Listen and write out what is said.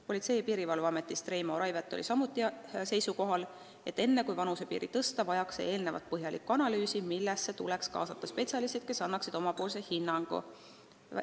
Politsei- ja Piirivalveameti esindaja Reimo Raivet oli samuti seisukohal, et enne kui vanusepiiri tõsta, tuleb teha põhjalik analüüs, millesse peaks kaasama spetsialistid, kes annaksid oma hinnangu.